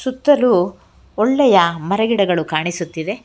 ಸುತ್ತಲು ಒಳ್ಳೆಯ ಮರ ಗಿಡಗಳು ಕಾಣಿಸುತ್ತಿದೆ.